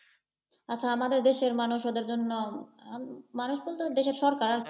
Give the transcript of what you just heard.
আচ্ছা আমাদের দেশের মানুষ ওদের জন্য, আহ মানুষ বলতে দেশের সরকার